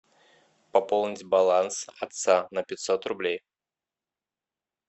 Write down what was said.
пополнить баланс отца на пятьсот рублей